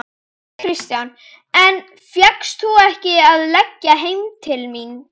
Kristján: En fékkst þú ekki að leggja heim til þín?